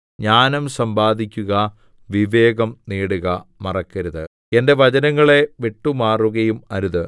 ജ്ഞാനം സമ്പാദിക്കുക വിവേകം നേടുക മറക്കരുത് എന്റെ വചനങ്ങളെ വിട്ടുമാറുകയും അരുത്